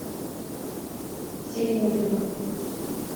семь ужинов